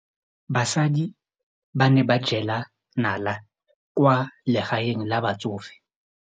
Basadi ba ne ba jela nala kwaa legaeng la batsofe.